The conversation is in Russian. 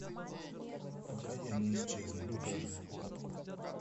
пока я не исчезну покажи